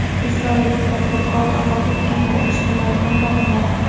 Isroillik tadbirkor vafot etganlar ijtimoiy tarmog‘ini yaratdi.